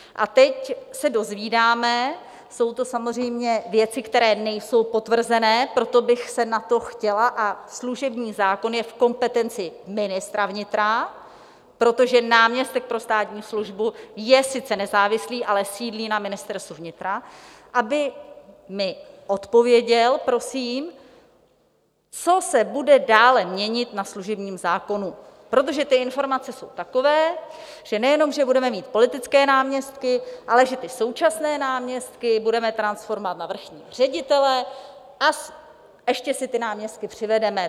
A teď se dozvídáme - jsou to samozřejmě věci, které nejsou potvrzené, proto bych se na to chtěla... a služební zákon je v kompetenci ministra vnitra, protože náměstek pro státní službu je sice nezávislý, ale sídlí na Ministerstvu vnitra, aby mi odpověděl, prosím - co se bude dále měnit na služebním zákonu, protože ty informace jsou takové, že nejenom že budeme mít politické náměstky, ale že ty současné náměstky budeme transformovat na vrchní ředitele a ještě si ty náměstky přivedeme.